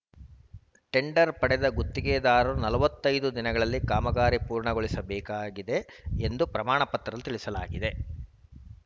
tender ಪಡೆದ ಗುತ್ತಿಗೆದಾರರು ನಲವತ್ತೈದು ದಿನಗಳಲ್ಲಿ ಕಾಮಗಾರಿ ಪೂರ್ಣಗೊಳಿಸಬೇಕಾಗಿದೆ ಎಂದು ಪ್ರಮಾಣಪತ್ರದಲ್ಲಿ ತಿಳಿಸಲಾಗಿದೆ